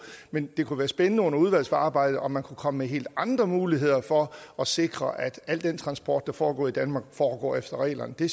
men det kunne være spændende under udvalgsarbejdet om man kunne komme med helt andre muligheder for at sikre at al den transport der foregår i danmark foregår efter reglerne det